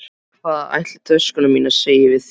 Hvað ætli töskurnar mínar segi við því?